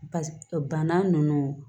Ba bana ninnu